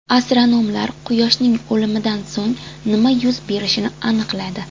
Astronomlar Quyoshning o‘limidan so‘ng nima yuz berishini aniqladi.